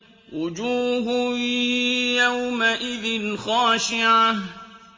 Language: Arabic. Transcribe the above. وُجُوهٌ يَوْمَئِذٍ خَاشِعَةٌ